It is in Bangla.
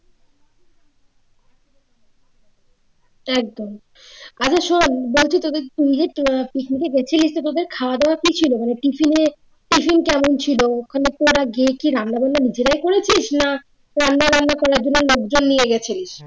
একদম আচ্ছা শোন বলছি তোদের picnic এ গিয়েছিলি তো তোদের খাওয়া দাওয়া কি ছিল মানে tiffin এ tiffin কেমন ছিল ওখানে তোরা গিয়ে কি রান্না-বান্না নিজেরাই করেছিস না রান্না-বান্না করার জন্য লোকজন নিয়ে গেছিলি